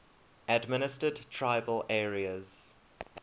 administered tribal areas